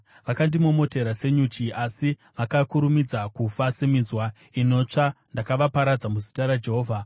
Vakandimomotera senyuchi, asi vakakurumidza kufa seminzwa inotsva, ndakavaparadza muzita raJehovha.